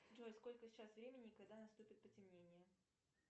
джой сколько сейчас времени и когда наступит потемнение